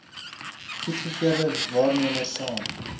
goedgekeurde waarnemers saam